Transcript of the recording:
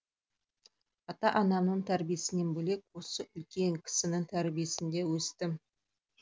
ата анамның тәрбиесінен бөлек осы үлкен кісінің тәрбиесінде өстім